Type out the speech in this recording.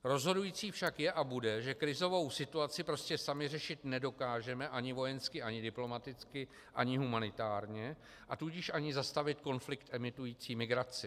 Rozhodující však je a bude, že krizovou situaci prostě sami řešit nedokážeme ani vojensky ani diplomaticky ani humanitárně, a tudíž ani zastavit konflikt emitující migraci.